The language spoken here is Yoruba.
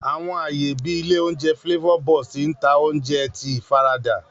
Àwọn aaye bii ilé oúnjẹ Flavor Burst n ta oúnjẹ ti ifarada.